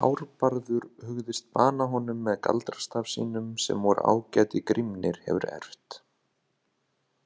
Hárbarður hugðist bana honum með galdrastaf sínum sem vor ágæti Grímnir hefur erft.